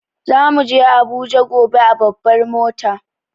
Za muje Abuja Gobe a babbar mota.